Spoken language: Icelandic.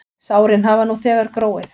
Sárin hafa nú þegar gróið.